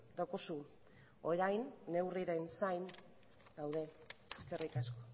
daukazu orain neurrien zain gaude eskerrik asko